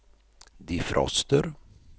defroster